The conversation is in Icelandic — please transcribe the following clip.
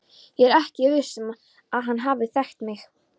Ég er ekki viss um að hann hafi þekkt mig.